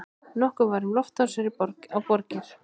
Nokkuð var um loftárásir á borgir.